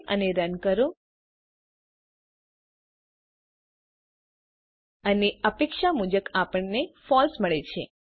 save અને run કરો અને અપેક્ષા મુજબ આપણને ફળસે મળે છે